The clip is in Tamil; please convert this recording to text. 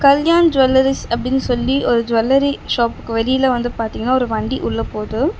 கல்யாண் ஜுவல்லரீஸ் அப்படின்னு சொல்லி ஒரு ஜுவல்லரி ஷாப்க்கு வெளில வந்து பாத்தீங்கன்னா ஒரு வண்டி உள்ள போகுது.